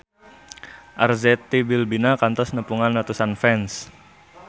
Arzetti Bilbina kantos nepungan ratusan fans